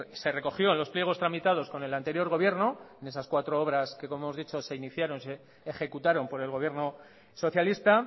se recogió en los pliegos tramitados con el anterior gobierno en esas cuatro obras que como hemos dicho se ejecutaron por el gobierno socialista